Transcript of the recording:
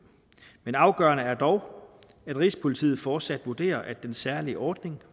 men afgørende er dog at rigspolitiet fortsat vurderer at den særlige ordning